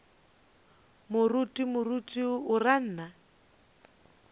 moruti moruti o ra nna